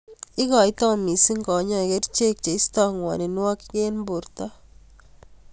Ikoitoi missing kanyoik kerchek cheistoi ng'woninwokik eng borto.